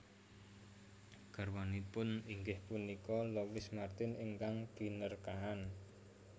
Garwanipun inggih punika Louis Martin ingkang Binerkahan